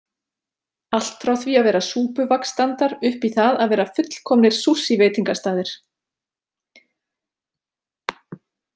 Allt frá því að vera súpuvagnsstandar upp í það að vera fullkomninr Sushi veitingastaðir.